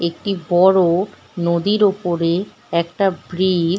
একটি বড়ো-ও নদীর ওপরে একটা ব্রি-ইজ --